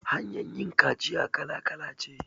Hanyar yin kaciya kala kala ce